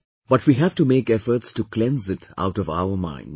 But we have to make efforts to cleanse it out of our minds